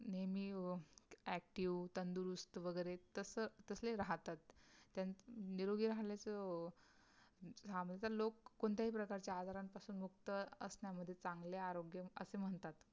नेहमी अं active तंदरुस्त वगैरे तस तसे राहतात, त्यांच निरोगी राहल्याच राहा म्हणजे लोक कोणत्याही प्रकारच्या आजारांपासून मुक्त असणं जरी चांगलं आरोग्य असं म्हणतात